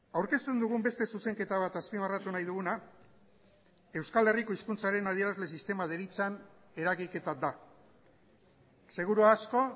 aurkezten dugun beste zuzenketa bat azpimarratu nahi duguna euskal herriko hizkuntzaren adierazle sistema deritzan eragiketa da seguru asko